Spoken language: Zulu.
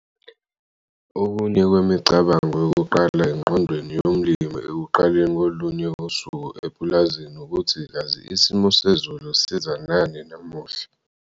Okunye kwemicabango yokuqala engqondweni yomlimi ekuqaleni kolunye usuku epulazini ukuthi kazi isimo sezulu siza nani namuhla.